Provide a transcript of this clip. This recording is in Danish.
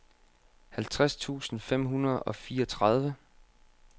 halvtreds tusind fem hundrede og fireogtredive